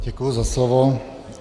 Děkuji za slovo.